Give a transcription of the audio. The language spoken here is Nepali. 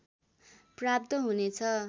प्राप्त हुनेछ